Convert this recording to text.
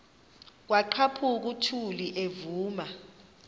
kwaqhaphuk uthuli evuma